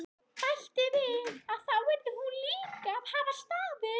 Bætti við að þá yrði hún líka að hafa stafinn.